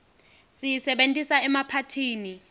siyisebentisa emaphathini